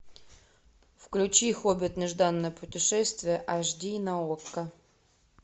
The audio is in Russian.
включи хоббит нежданное путешествие аш ди на окко